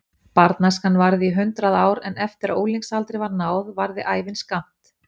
Barnæskan varði í hundrað ár en eftir að unglingsaldri var náð varði ævin skammt.